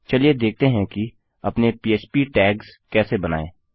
चलिए देखते हैं कि अपने पह्प टैग्स कैसे बनायें